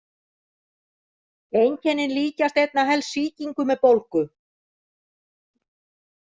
Einkennin líkjast einna helst sýkingu með bólgu.